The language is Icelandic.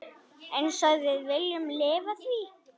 Einsog við viljum lifa því.